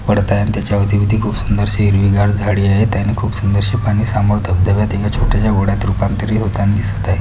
पडता आहे आणि त्याच्या अवतीभवती खूप सुंदरशी हिरवीगार झाडी आहेत आणि खूप सुंदरशी पाणी सामोर धबधब्यात एका छोट्याश्या ओढ्यात रूपांतरित होताना दिसत आहे.